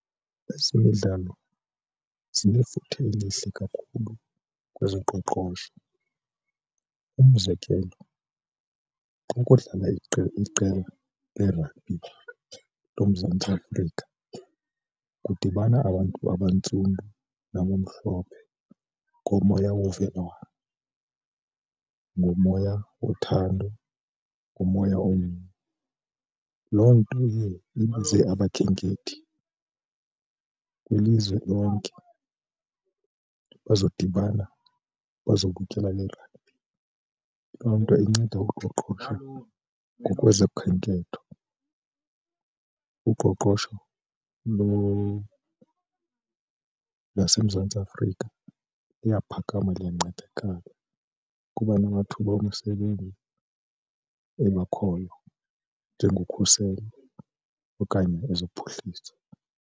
Ezemidlalo zinefuthe elihle kakhulu kwezoqoqosho. Umzekelo, ukudlala iqela leragbhi loMzantsi Afrika kudibana abantu abantsundu, nabamhlophe ngomoya wovelwano, ngomoya wothando, ngomoya omnye. Loo nto iye ibize abakhenkethi kwilizwe lonke bazodibana bazobukela le ragbhi. Loo nto inceda uqoqosho ngokwezokhenketho, uqoqosho laseMzantsi Afrika liyaphakama, liyancedakala kuba namathuba omsebenzi engakhoyo njengokhuselo okanye ezophuhliso.